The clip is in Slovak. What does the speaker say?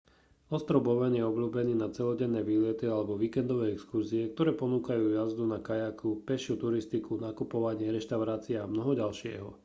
ostrov bowen je obľúbený na celodenné výlety alebo víkendové exkurzie ktoré ponúkajú jazdu na kajaku pešiu turistiku nakupovanie reštaurácie a mnoho ďalšieho